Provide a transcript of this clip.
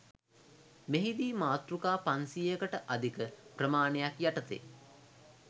මෙහිදී මාතෘකා පන්සියයකට අධික ප්‍රමාණයක් යටතේ